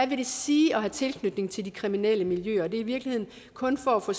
vil sige at have tilknytning til de kriminelle miljøer og det er i virkeligheden kun for at få